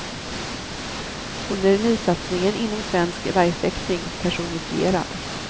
Hon är nysatsningen inom svensk värjfäktning personifierad.